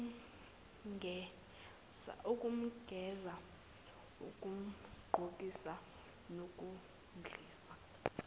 ukumgeza ukumgqokisa nokumdlisa